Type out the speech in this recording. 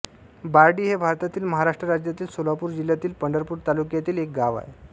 बारडी हे भारतातील महाराष्ट्र राज्यातील सोलापूर जिल्ह्यातील पंढरपूर तालुक्यातील एक गाव आहे